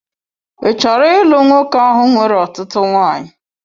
Ị chọrọ ịlụ nwoke ahụ nwere ọtụtụ nwanyị?